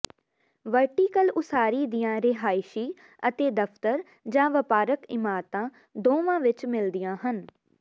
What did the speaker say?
vertical ਉਸਾਰੀ ਦੀਆਂ ਰਿਹਾਇਸ਼ੀ ਅਤੇ ਦਫਤਰ ਜਾਂ ਵਪਾਰਕ ਇਮਾਰਤਾ ਦੋਵਾਂ ਵਿਚ ਮਿਲਦੀਆਂ ਹਨ